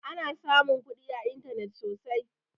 Ana samun kuɗi a intanet sosai